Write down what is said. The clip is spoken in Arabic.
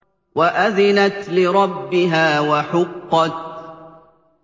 وَأَذِنَتْ لِرَبِّهَا وَحُقَّتْ